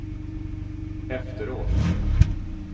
efteråt